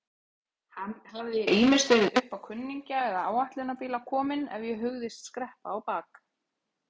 Hafði ég ýmist verið uppá kunningja eða áætlunarbíla kominn ef ég hugðist skreppa á bak.